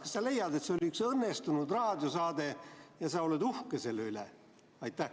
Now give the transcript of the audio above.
Kas sa leiad, et see oli üks õnnestunud raadiosaade ja sa oled uhke selle üle?